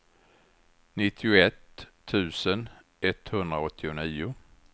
nittioett tusen etthundraåttionio